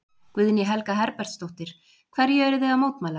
Guðný Helga Herbertsdóttir: Hverju eruð þið að mótmæla?